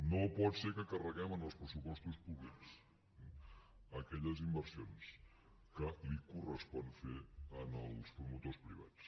no pot ser que carreguem en els pressupostos públics aquelles inversions que els correspon fer als promotors privats